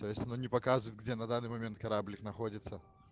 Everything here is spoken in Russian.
то есть она не показывает где на данный момент кораблик находится